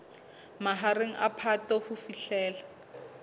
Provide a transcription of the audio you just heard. mahareng a phato ho fihlela